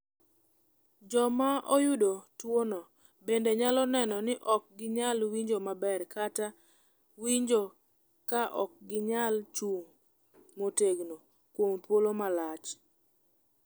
"Joma oyudo tuwono bende nyalo neno ni ok ginyal winjo maber kata winjo ka ok ginyal chung’ motegno kuom thuolo malach."